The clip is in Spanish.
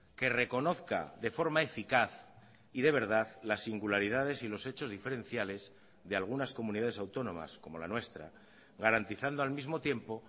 que reconozca de forma eficaz y de verdad las singularidades y los hechos diferenciales de algunas comunidades autónomas como la nuestra garantizando al mismo tiempo